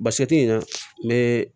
Basɛti ɲina n bɛ